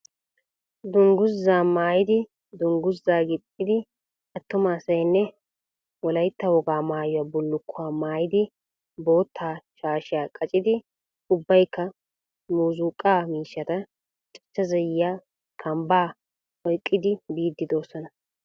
Dunguzzaa maayid dunguzzaa gixxidi atuma asaynne wolaitta wogaa maayuwaa bulukkuwaa maayidi bootta shaashiya qaccidi ubbaykka muuzzuqqa miishshata cachcha zayyiyaa, kambbaa oyqqidi biidi doosona.